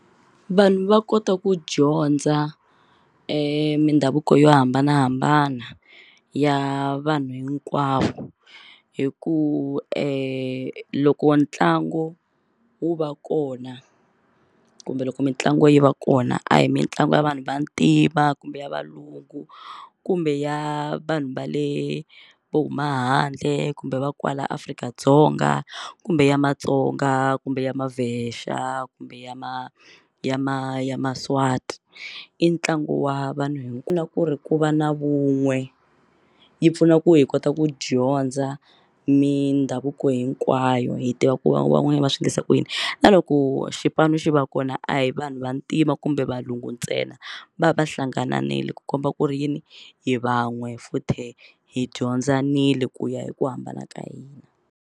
Vanhu va kota ku dyondza mindhavuko yo hambanahambana ya vanhu hinkwavo hi ku loko ntlangu wu va kona kumbe loko mitlangu yi va kona a hi mitlangu ya vanhu vantima kumbe ya valungu kumbe ya vanhu va le vo huma handle kumbe va kwala Afrika-Dzonga kumbe ya Matsonga kumbe ya ma Vhesha kumbe ya ma ya ma ya Maswati i ntlangu wa vanhu ku na ku ri ku va na vun'we yi pfuna ku hi kota ku dyondza mindhavuko hinkwayo hi tiva ku van'wani va swi endlisa ku yini na loko xipano xi va kona a hi vanhu vantima kumbe valungu ntsena va va hlangananile ku komba ku ri yini hi van'we futhe hi dyondzanile ku ya hi ku hambana ka hina.